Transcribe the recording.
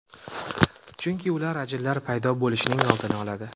Chunki ular ajinlar paydo bo‘lishining oldini oladi.